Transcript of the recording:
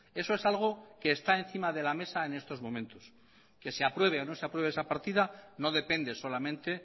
eso es algo que está encima de la mesa en estos momentos que se apruebe o no se apruebe esa partida no depende solamente